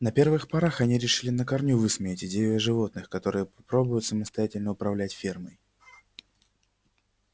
на первых порах они решили на корню высмеять идею о животных которые попробуют самостоятельно управлять фермой